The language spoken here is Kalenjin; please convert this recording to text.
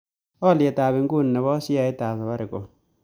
Alyetap inguni ne po sheaitap safaricom